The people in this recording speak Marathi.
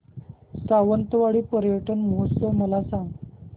सावंतवाडी पर्यटन महोत्सव मला सांग